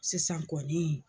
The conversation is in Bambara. Sisan kɔni